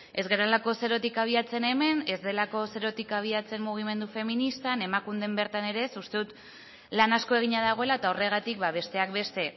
ez garelako zerotik abiatzen hemen ez delako zerotik abiatzen mugimendu feministan emakunden bertan ere ez uste dut lan asko egina dagoela eta horregatik besteak beste